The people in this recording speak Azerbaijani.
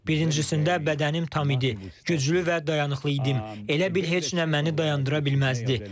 Birincisində bədənim tam idi, güclü və dayanıqlı idim, elə bil heç nə məni dayandıra bilməzdi.